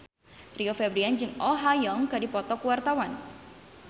Rio Febrian jeung Oh Ha Young keur dipoto ku wartawan